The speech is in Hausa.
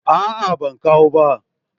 A'a ban kawo ba